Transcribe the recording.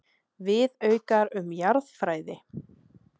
Viðaukar um jarðfræði.